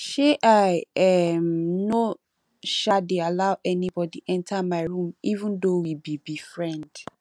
um i um no um dey allow anybody enter my room even though we be be friend